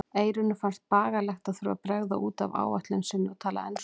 Eyrúnu fannst bagalegt að þurfa að bregða út af áætlun sinni og tala ensku.